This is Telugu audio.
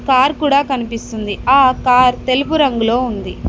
కార్ కూడా కనిపిస్తుంది ఆ కార్ తెలుపు రంగులో ఉంది.